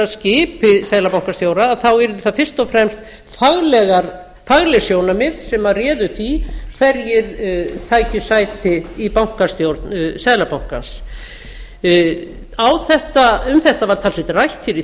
skipi seðlabankastjóra þá yrðu það fyrst og fremst fagleg sjónarmið sem réðu því hverjir tækju sæti í bankastjórn seðlabankann um þetta var talsvert rætt hér í